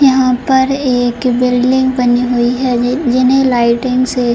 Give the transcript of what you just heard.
यहां पर एक बिल्डिंग बनी हुई है जि जिन्हें लाइटिंग से --